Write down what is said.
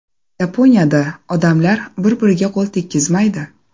Yaponiyada odamlar bir-biriga qo‘l tekkizmaydi .